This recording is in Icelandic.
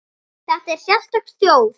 Þetta er sérstök þjóð.